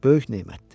böyük nemətdir.